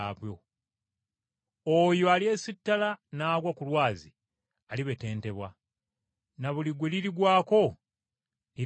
Oyo alyesitala n’agwa ku jjinja eryo, alibetentebwa, na buli gwe lirigwako lirimubetenta.”